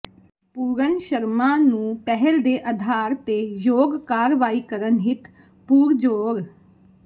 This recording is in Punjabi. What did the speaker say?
ਪੂਰਨ ਸ਼ਰਮਾਂ ਨੂੰ ਪਹਿਲ ਦੇ ਆਧਾਰ ਤੇ ਯੋਗ ਕਾਰਵਾਈ ਕਰਨ ਹਿੱਤ ਪੁਰਜੋਰ